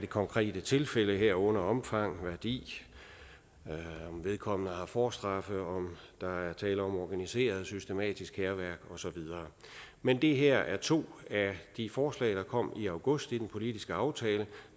konkrete tilfælde herunder omfang værdi om vedkommende har forstraffe om der er tale om organiseret systematisk hærværk og så videre men det her er to af de forslag der kom i august i den politiske aftale